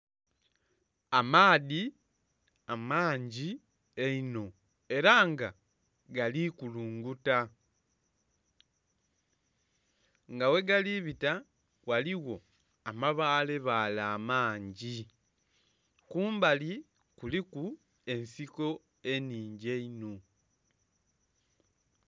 Amaadhi amangi einho era nga gali kulunguta nga ghe gali bita ghaligho amabaale baale amangi. Kumbali kuliko ensiko eningi einho